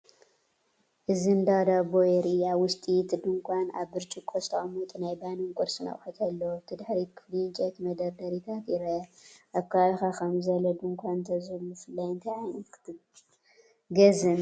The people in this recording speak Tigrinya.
እዚ እንዳ ዳቦ የርኢ። ኣብ ውሽጢ እቲ ድኳን፡ ኣብ ብርጭቆ ዝተቀመጡ ናይ ባኒን ቁርስን ኣቑሑት ኣለዉ። ኣብቲ ድሕሪት ክፍሊ ዕንጨይቲ መደርደሪታት ይርአ። ኣብ ከባቢኻ ከምዚ ዝበለ ድኳን እንተዝህሉ ብፍላይ እንታይ ዓይነት ክትገዝእ ምደለኻ?